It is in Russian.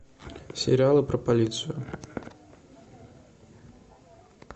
сериалы про полицию